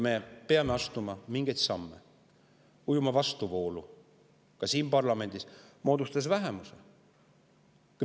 Me peame astuma mingeid samme, ujuma vastuvoolu ka siin parlamendis, moodustades vähemuse.